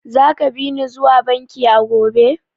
Zaka bi ni zuwa bankin a gobe?